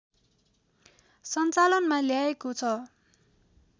सञ्चालनमा ल्याएको छ